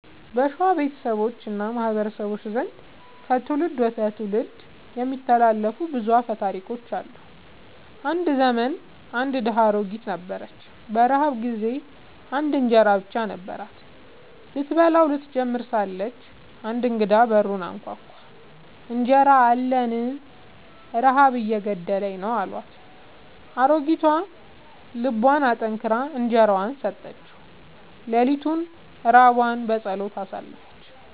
በሸዋ ቤተሰቦች እና ማህበረሰቦች ዘንድ ከትውልድ ወደ ትውልድ የሚተላለፉ ብዙ አፈ ታሪኮች አሉ። አንድ ዘመን አንድ ድሃ አሮጊት ነበረች። በረሃብ ጊዜ አንድ እንጀራ ብቻ ነበራት። ስትበላው ልትጀምር ሳለች አንድ እንግዳ በሩን አንኳኳ፤ «እንጀራ አለኝን? ረሃብ እየገደለኝ ነው» አላት። አሮጊቷ ልቧን አጠንክራ እንጀራዋን ሰጠችው። ሌሊቱን ራቧን በጸሎት አሳለፈች።